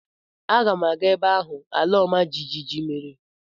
Aga m aga ebe ahụ ala ọma jijiji mere.